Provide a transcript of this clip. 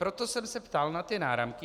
Proto jsem se ptal na ty náramky.